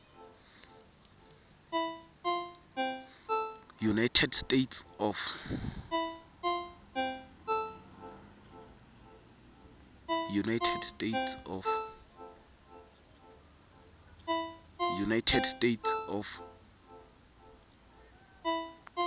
eunited states of